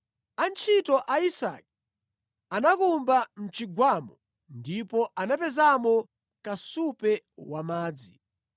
Antchito a Isake anakumba mʼchigwamo ndipo anapezamo kasupe wa madzi.